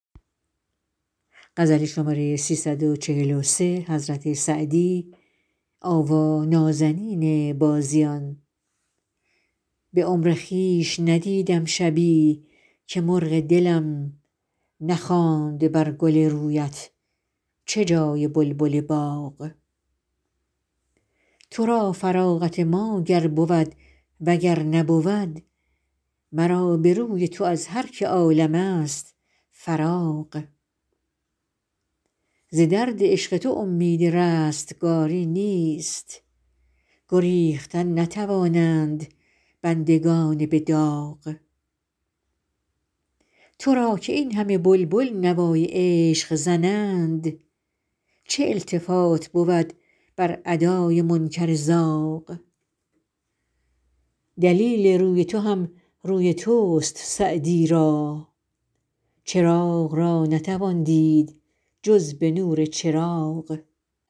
به عمر خویش ندیدم شبی که مرغ دلم نخواند بر گل رویت چه جای بلبل باغ تو را فراغت ما گر بود و گر نبود مرا به روی تو از هر که عالم ست فراغ ز درد عشق تو امید رستگاری نیست گریختن نتوانند بندگان به داغ تو را که این همه بلبل نوای عشق زنند چه التفات بود بر ادای منکر زاغ دلیل روی تو هم روی توست سعدی را چراغ را نتوان دید جز به نور چراغ